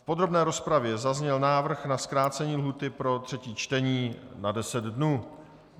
V podrobné rozpravě zazněl návrh na zkrácení lhůty pro třetí čtení na 10 dnů.